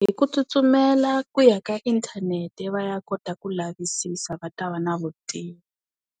Hi ku tsutsumela ku ya ka inthanete va ya kota ku lavisisa va ta va na vutivi.